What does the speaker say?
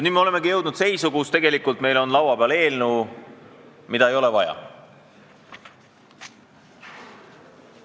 Nii me olemegi jõudnud seisu, kus meil on laua peal eelnõu, mida ei ole vaja.